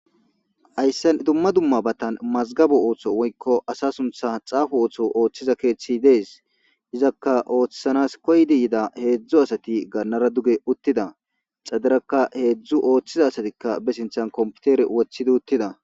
ayssen dumma dumma batan mazgabu ooththo woykko asa suntha xaafu ooththo ooththiza keeththi dees izakka ooththanas koydi yida heedzdzu asati gannara duge uttida xadirakka heedzdzu ooththiza asatikka be sinthan komputere wothidi uttida